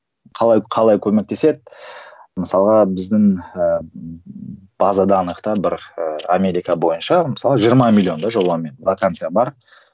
қалай қалай көмектеседі мысалға біздің ііі база данных та бір і америка бойынша мысалы жиырма миллион да жобамен вакансия бар